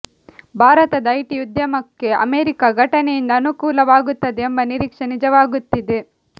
ಭಾರತದ ಐಟಿ ಉದ್ಯಮಕ್ಕೆ ಅಮೆರಿಕ ಘಟನೆಯಿಂದ ಅನುಕೂಲವಾಗುತ್ತದೆ ಎಂಬ ನಿರೀಕ್ಷೆ ನಿಜವಾಗುತ್ತಿದೆ